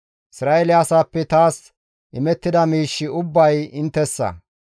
«Isra7eele asaappe taas imettida miishshi ubbay inttessa.